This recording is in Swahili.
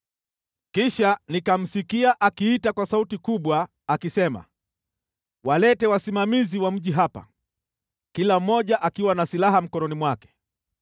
Kisha nikamsikia akiita kwa sauti kubwa akisema, “Walete wasimamizi wa mji hapa, kila mmoja akiwa na silaha mkononi mwake.”